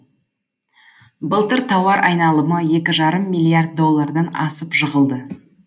былтыр тауар айналымы екі жарым миллиард доллардан асып жығылды